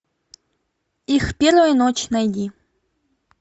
их первая ночь найди